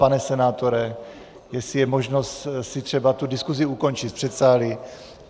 Pane senátore, jestli je možnost si třeba tu diskusi ukončit v předsálí.